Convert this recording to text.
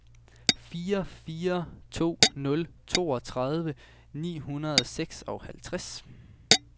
fire fire to nul toogtredive ni hundrede og seksoghalvtreds